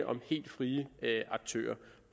om helt frie aktører